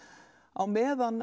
á meðan